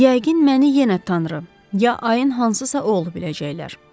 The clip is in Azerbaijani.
Yəqin məni yenə tanrı, ya ayın hansısa oğlu biləcəklər.